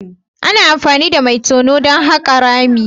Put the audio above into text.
Ana amfani da mai tono don haƙa rami.